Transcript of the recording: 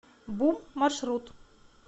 бум маршрут